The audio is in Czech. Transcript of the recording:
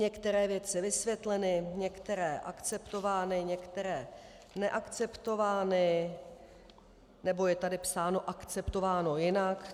Některé věci vysvětleny, některé akceptovány, některé neakceptovány, nebo je tady psáno: akceptováno jinak.